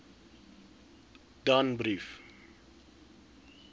danbrief